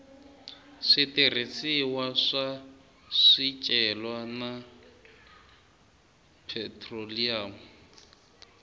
switirhisiwa swa swicelwa na phetroliyamu